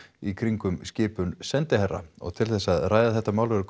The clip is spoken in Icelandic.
í kringum skipun sendiherra og til þess að ræða þetta mál eru